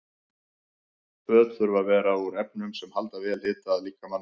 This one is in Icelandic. Föt þurfa að vera úr efnum sem halda vel hita að líkamanum.